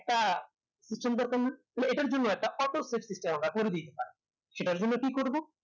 তা কিছুই দরকার নেই তাহলে এটার জন্য একটা সেটার জন্য কি করব?